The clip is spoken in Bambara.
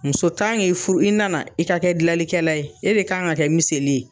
Muso fu i nana, i ka kɛ gilanlikɛla ye, e de kan ka kɛ miseli ye.